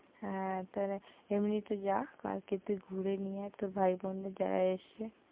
হ্যাঁ, তোরা এমনিতে যা কালকে তুই ঘুরে নিয়ে আয় তোর ভাই-বোনদের যারা এসছে,